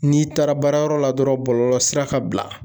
N'i taara baarayɔrɔ la dɔrɔn bɔlɔlɔsira ka bila